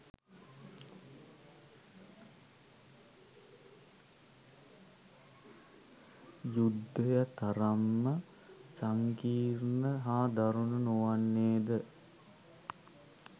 යුද්ධය තරම්ම සංකීර්ණ හා දරුණු නොවන්නේද?